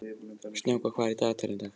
Snjáka, hvað er í dagatalinu í dag?